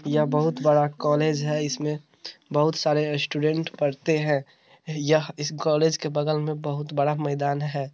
यह बहुत बड़ा कॉलेज है। इसमें बहुत सारे स्टूडेंट पढ़ते हैं। यह इस कॉलेज के बगल में बहुत बड़ा मैदान है।